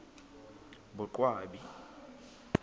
boqwabi